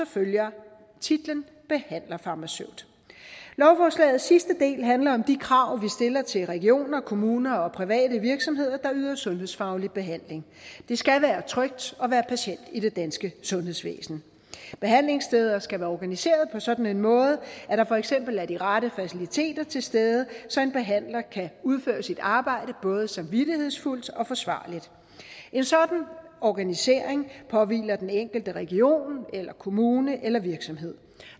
følger titlen behandlerfarmaceut lovforslagets sidste del handler om de krav vi stiller til regioner kommuner og private virksomheder der yder sundhedsfaglig behandling det skal være trygt at være patient i det danske sundhedsvæsen behandlingssteder skal være organiseret på en sådan måde at der for eksempel er de rette faciliteter til stede så en behandler kan udføre sit arbejde både samvittighedsfuldt og forsvarligt en sådan organisering påhviler den enkelte region eller kommune eller virksomhed